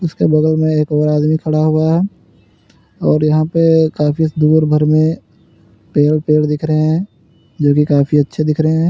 उसके बगल में एक और बड़ा आदमी खड़ा हुआ है और यहां पर काफी दूर भर में पेड़ पेड़ दिख रहे हैं जोकि काफी अच्छे दिख रहे हैं।